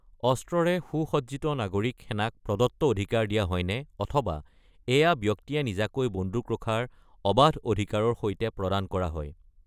অস্ত্ৰৰে সু-সজ্জিত নাগৰিক সেনাক প্ৰদত্ত অধিকাৰ দিয়া হয়নে, অথবা এয়া ব্যক্তিয়ে নিজাকৈ বন্দুক ৰখাৰ অবাধ অধিকাৰৰ সৈতে প্ৰদান কৰা হয়?